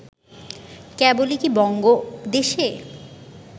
কেবলই কি বঙ্গদেশে